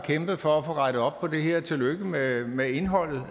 kæmpet for at få rettet op på det her tillykke med med indholdet